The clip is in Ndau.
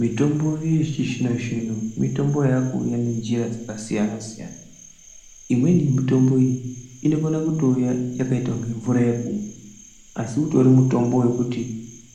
Mitombo yechizvinozvino mitombo yakuuya nenjira dzakasiyana siyana imweni mitombo iyi inokona kutouya yakaita kunge mvura yekumwa asi utori mutombo wekuti